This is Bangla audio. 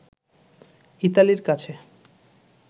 ইতালির কাছে